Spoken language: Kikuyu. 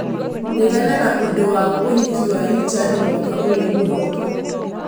regana na ũndũ wa ũhiki wa Richard mwaka ũyũ ũroka